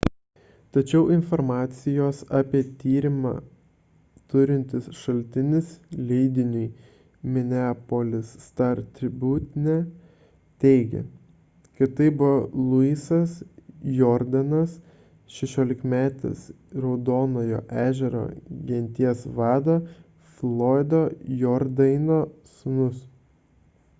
tačiau informacijos apie tyrimą turintis šaltinis leidiniui minneapolis star-tribune teigė kad tai buvo louisas jourdainas šešiolikmetis raudonojo ežero genties vado floydo jourdaino sūnus